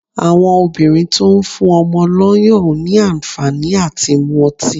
Àwọn obìnrin tó ń fún ọmọ lọ́yàn ò ní àǹfàní à ti mú ọtí.